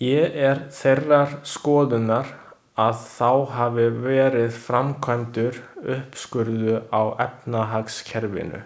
Ég er þeirrar skoðunar, að þá hafi verið framkvæmdur uppskurður á efnahagskerfinu.